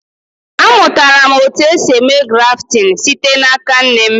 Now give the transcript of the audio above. A mụtara m otu esi eme grafting site n'aka nne m